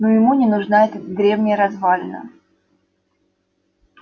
но ему не нужна эта древняя развалина